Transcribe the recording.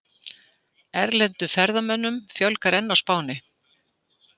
Erlendum ferðamönnum fjölgar enn á Spáni